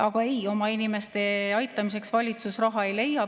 Aga ei, oma inimeste aitamiseks valitsus raha ei leia.